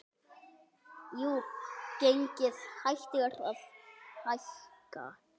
Jú, gengið hættir að hækka.